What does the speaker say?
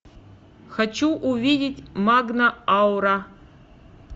хочу увидеть магна аура